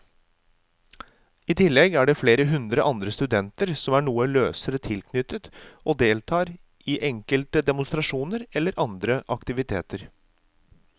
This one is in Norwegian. I tillegg er det flere hundre andre studenter som er noe løsere tilknyttet og deltar i enkelte demonstrasjoner eller andre aktiviteter.